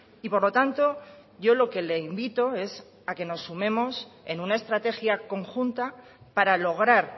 y por lo tanto yo lo que le invito es a que nos sumemos en una estrategia conjunta para lograr